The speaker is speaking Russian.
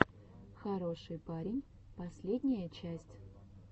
хороший парень последняя часть